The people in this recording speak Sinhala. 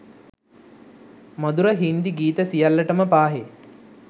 මධුර හින්දි ගීත සියල්ලටම පාහේ